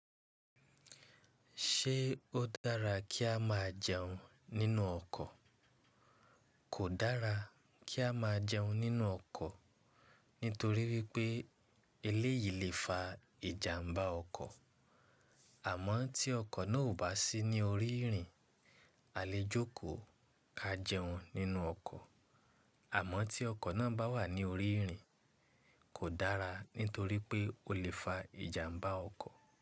Ṣé ó dára kí á má jẹun nínú ọkọ̀? Kò dára kí á má jẹun nínú ọkọ̀ nítorí wípé eléyìí le fa ìjàmbá ọkọ̀. Àmọ́ tí ọkọ̀ náà ò bá sí ní orí ìrìn, a lè jókòó ka jẹun nínú ọkọ̀. Àmọ́ tí ọkọ̀ náà bá wà ní orí ìrìn, kò dára nítorí pé ó lè fa ìjàmbá ọkọ̀.